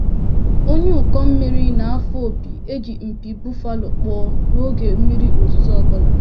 Onye ụkọ mmiri na-afụ opi e ji mpi buffalo kpụọ n'oge mmiri ozuzo ọ bụla.